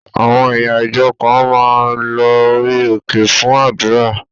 Àwọn ẹ̀yà ìjọ kan máa ń lo orí òkè fún àdúrà.